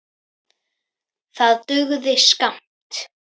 Það dugði skammt.